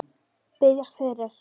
Biðjast fyrir?